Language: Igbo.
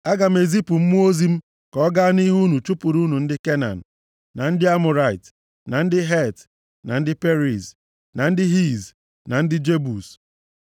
Aga m ezipu Mmụọ ozi m ka ọ gaa nʼihu unu chụpụrụ unu ndị Kenan, na ndị Amọrait, na ndị Het, na ndị Periz, na ndị Hiv, na ndị Jebus.